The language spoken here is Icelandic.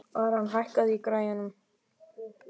Aran, hækkaðu í græjunum.